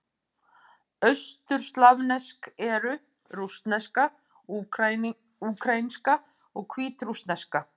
Austurslavnesk eru: rússneska, úkraínska og hvítrússneska.